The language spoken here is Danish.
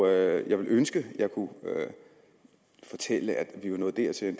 jeg ville ønske at jeg kunne fortælle at vi var nået dertil